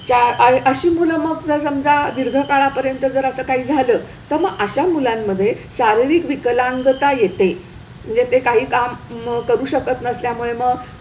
त्या अह अशी मुलं मग जर समजा दीर्घ काळापर्यंत जर असं काही झालं तर मग अशा मुलांमध्ये शारीरिक विकलांगता येते म्हणजे ते काही काम करू शकत नसल्यामुळे मग,